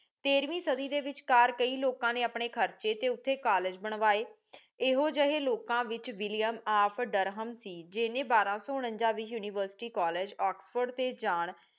ਤੇਰ੍ਹਵੀਂ ਸਾਦੀ ਦੇ ਵਿਚਕਰ ਕਈ ਲੋਕਾਂ ਨੀ ਅਪਣੇ ਖਾਰਚੇ ਤੇ ਉਥੇ ਕਾਲਜ ਬਣਵਾਏ ਏਹੋ ਜਾਏ ਲੋਕਾਂ ਵਿਚ ਵਿਲ੍ਲੀਅਮ ਓਫ ਡਰਹਮ ਸੀ ਜਿੰਨੀ ਬਾਰਾ ਸੂ ਉਨਾਨ੍ਜਾ ਵਿਚ ਯੂਨੀਵਰਸਿਟੀ ਕਾਲਜ ਓਕ੍ਸ੍ਫੋਰਡ ਤੇ ਜਾਨ